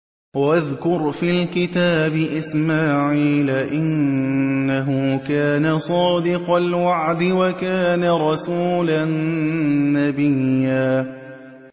وَاذْكُرْ فِي الْكِتَابِ إِسْمَاعِيلَ ۚ إِنَّهُ كَانَ صَادِقَ الْوَعْدِ وَكَانَ رَسُولًا نَّبِيًّا